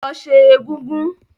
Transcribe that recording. Lọ sẹ́ egúngún!